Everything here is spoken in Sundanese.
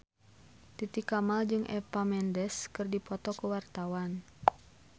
Titi Kamal jeung Eva Mendes keur dipoto ku wartawan